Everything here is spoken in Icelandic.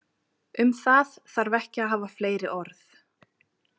Um það þarf ekki að hafa fleiri orð.